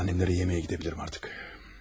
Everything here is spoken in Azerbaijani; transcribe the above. Şimdi annəmlərə yeməyə gedə bilərəm artıq.